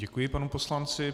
Děkuji panu poslanci.